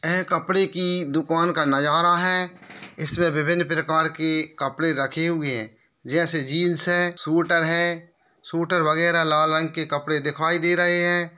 एह कपड़े की दुकान का नजारा है। इसमें विभिन्न प्रकार के कपड़े रखे हुए जैसे जींस है सूटर है सूटर वगैरह लाल रंग के कपड़े दिखाई दे रहे हैं।